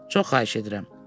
Çox xahiş edirəm.